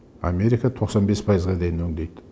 америка тоқсан бес пайызға дейін өңдейді